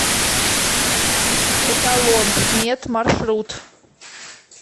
эталон мед маршрут